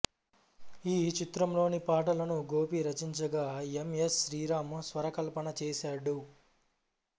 ఈ చిత్రంలోని పాటలను గోపి రచించగా ఎం ఎస్ శ్రీరాం స్వరకల్పన చేశాడు